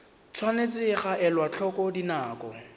tshwanetse ga elwa tlhoko dinako